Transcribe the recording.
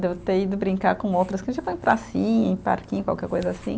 Devo ter ido brincar com outras, em pracinha, em parquinho, qualquer coisa assim.